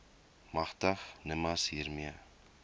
magtig nimas hiermee